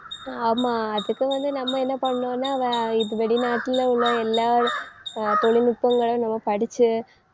ஆமா அதுக்கு வந்து நம்ம என்ன பண்ணணும்ன்னா வே~ இது வெளிநாட்டுல உள்ள எல்லா அஹ் தொழில்நுட்பங்களை நம்ம படிச்சு